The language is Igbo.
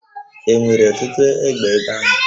E nwere ọtụtụ egbe ebe ahụ?